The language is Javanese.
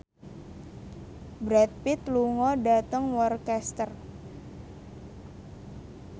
Brad Pitt lunga dhateng Worcester